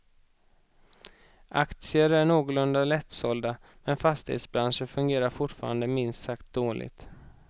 Aktier är någorlunda lättsålda, men fastighetsbranschen fungerar fortfarande minst sagt dåligt.